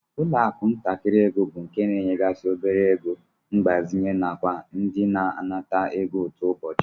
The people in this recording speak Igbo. Ụlọakụ ntakịrị ego bụ nke na-enyegasị obere ego mgbazinye nakwa ndị na-anata ego ụtụ ụbọchị